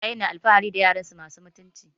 Iyaye na alfahari da yaransu masu mutunci